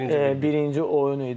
birinci oyun idi.